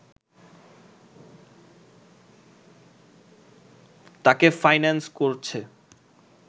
তাকে ফাইন্যান্স করছে